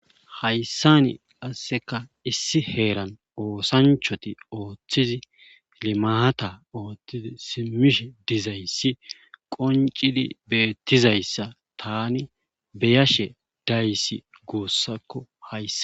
hayssani qasseka issi heeran oosanchati ooththizi limaata ooththizi simmishe dizayssi qoncidi beettizayssa tani beyashe dayssi guussakko hayssa